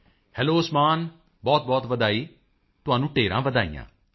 Modi ji hello Usman ਬਹੁਤਬਹੁਤ ਵਧਾਈ ਤੁਹਾਨੂੰ ਢੇਰਾਂ ਵਧਾਈਆਂ